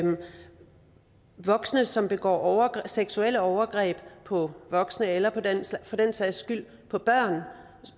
voksne som begår seksuelle overgreb på voksne eller for den sags skyld på børn